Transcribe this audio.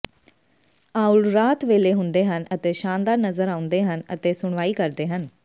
owl ਰਾਤ ਵੇਲੇ ਹੁੰਦੇ ਹਨ ਅਤੇ ਸ਼ਾਨਦਾਰ ਨਜ਼ਰ ਆਉਂਦੇ ਹਨ ਅਤੇ ਸੁਣਵਾਈ ਕਰਦੇ ਹਨ